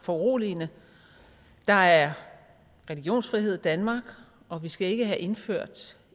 foruroligende der er religionsfrihed i danmark og vi skal ikke have indført